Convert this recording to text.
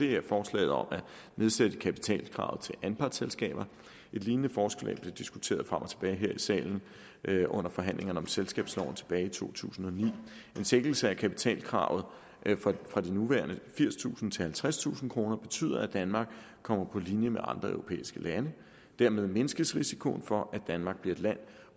er forslaget om at nedsætte kapitalkravet til anpartsselskaber et lignende forslag blev diskuteret frem og tilbage her i salen under forhandlingerne om selskabsloven tilbage i to tusind og ni en svækkelse af kapitalkravet fra de nuværende firstusind kroner til halvtredstusind kroner betyder at danmark kommer på linje med andre europæiske lande dermed mindskes risikoen for at danmark bliver et land